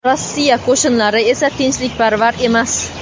Rossiya qo‘shinlari esa tinchlikparvar emas.